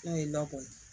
N'o ye nakɔ ye